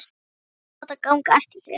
Þær vilja láta ganga eftir sér.